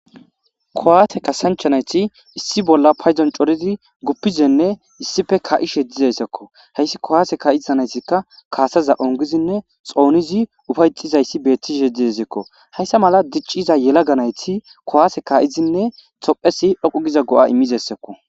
Kuwaase kaassancha nayti issi bolla c'oridi guppishenne issippe kaa7ishe de7izayssako. hayssa kuwaase kaa7iza naytazikkakaassaza ongidinne xoonidi ufa7ettishe dizayssi beettizayssako. Hayssa mala dicciza yelaga nayti kuwaase kaa7idinne tophphiyay siiqokko giza go7a immishe doosona.